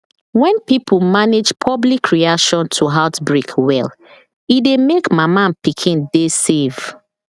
when pipo manage public reaction to outbreak well e dey make mama and pikin dey save